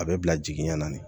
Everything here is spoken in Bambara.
A bɛ bila jigiɲɛ na ne